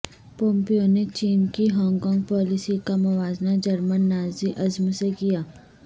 Pompeo نے چین کی ہانگ کانگ پالیسی کا موازنہ جرمن نازی ازم سے کیا